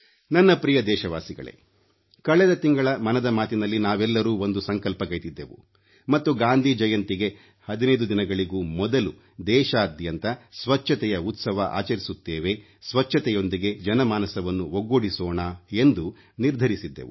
ನನ್ನ ಪ್ರಿಯ ದೇಶವಾಸಿಗಳೇ ಕಳೆದ ತಿಂಗಳ ಮನದ ಮಾತಿನಲ್ಲಿ ನಾವೆಲ್ಲರೂ ಒಂದು ಸಂಕಲ್ಪಗೈದಿದ್ದೆವು ಮತ್ತು ಗಾಂಧಿ ಜಯಂತಿಗೆ 15 ದಿನಗಳಿಗೂ ಮೊದಲು ದೇಶಾದ್ಯಂತ ಸ್ವಚ್ಛತೆಯ ಉತ್ಸವ ಆಚರಿಸುತ್ತೇವೆ ಸ್ವಚ್ಛತೆಯೊಂದಿಗೆ ಜನಮಾನಸವನ್ನು ಒಗ್ಗೂಡಿಸೋಣ ಎಂದು ನಿರ್ಧರಿಸಿದ್ದೆವು